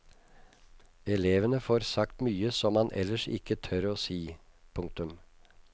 Elevene får sagt mye som man ellers ikke tør å si. punktum